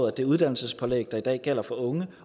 at det uddannelsesforløb der i dag gælder for unge